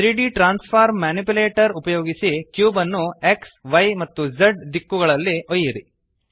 3ದ್ transform manipulator ಉಪಯೋಗಿಸಿ cube ನ್ನು xಯ್ ಮತ್ತು Z ದಿಕ್ಕುಗಳಲ್ಲಿ ಒಯ್ಯಿರಿ